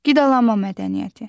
Qidalanma mədəniyyəti.